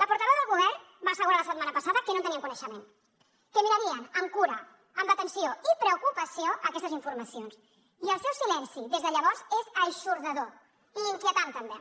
la portaveu del govern va assegurar la setmana passada que no en tenien coneixement que mirarien amb cura amb atenció i preocupació aquestes informacions i el seu silenci des de llavors és eixordador i inquietant també